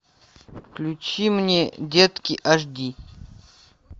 включи мне детки аш ди